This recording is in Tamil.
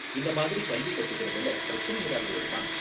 இந்த மாதிரி கல்வி கத்துக்கிறதுல பிரச்சனை ஏதாவது வருமா?